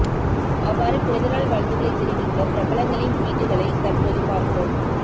அவ்வாறு பிறந்த நாள் வாழ்த்துக்களை தெரிவித்த பிரபலங்களின் டுவீட்டுக்களை தற்போது பார்ப்போம்